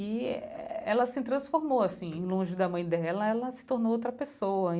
E ela se transformou, assim, longe da mãe dela, ela se tornou outra pessoa.